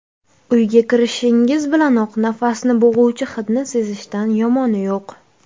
Uyga kirishingiz bilanoq nafasni bo‘g‘uvchi hidni sezishdan yomoni yo‘q.